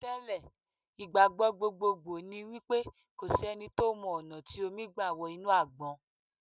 Tẹ́ lẹ̀, ìgbàgbọ́ gbogbogbò ni wípé kò sí ẹni tó mọ ọ̀nà tí omi gbà wọ inú Àgbọn.